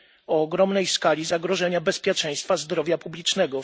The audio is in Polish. o ogromnej skali zagrożenia bezpieczeństwa zdrowia publicznego.